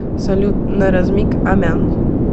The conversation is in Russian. салют на размик амян